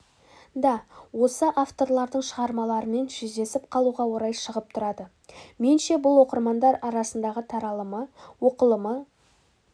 да осы авторлардың шығармаларымен жүздесіп қалуға орай шығып тұрады менше бұл оқырмандар арасындағы таралымы оқылымы